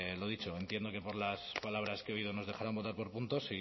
lo dicho entiendo que por las palabras que he oído nos dejarán votar por puntos